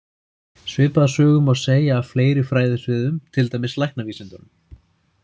Svipaða sögu má segja af fleiri fræðasviðum, til dæmis læknavísindunum.